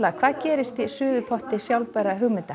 hvað gerist í suðupotti sjálfbærra hugmynda